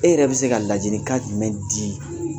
E yɛrɛ bi se ka ladilikan jumɛn di ?